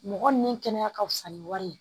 Mɔgɔ nin kɛnɛya ka fusa ni wari ye.